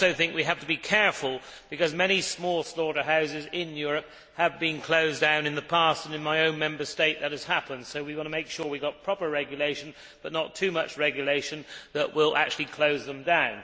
I also think we have to be careful, because many small slaughterhouses in Europe have been closed down in the past and in my own Member State that has happened so we want to make sure we have got proper regulation, but not too much regulation that will actually close them down.